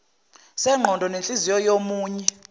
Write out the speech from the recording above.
sengqondo nenhliziyo yomunye